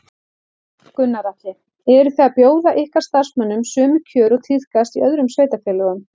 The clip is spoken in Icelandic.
Gunnar Atli: Eru þið að bjóða ykkar starfsmönnum sömu kjör og tíðkast í öðrum sveitarfélögum?